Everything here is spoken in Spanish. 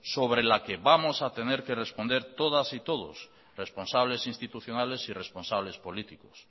sobre la que vamos a tener que responder todas y todos responsables instituciones y responsables políticos